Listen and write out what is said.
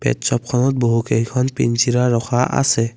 পেট শ্ব'পখনত বহুকেইখন পিঞ্জিৰা ৰখা আছে।